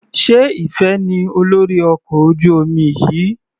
Sé Ìfẹ ní olórí ọkọ̀ ojú omi yìí?